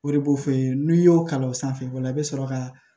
O de b'o f'i ye n'i y'o kalan o sanfɛ o la i bɛ sɔrɔ ka